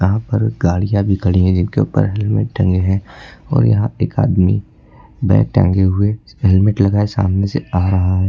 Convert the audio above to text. यहां पर गाड़ियां भी खड़ी है जिनके ऊपर हेलमेट टंगे हैं और यहां पे एक आदमी बैग टांगे हुए हेलमेट लगाए सामने से आ रहा है।